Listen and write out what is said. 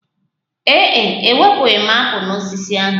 Ee e, ewepụghi m apụl n'osisi ahụ